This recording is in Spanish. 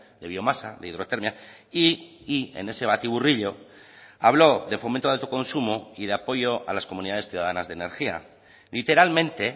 de biomasa de hidrotermia y y en ese batiburrillo habló de fomento de autoconsumo y de apoyo a las comunidades ciudadanas de energía literalmente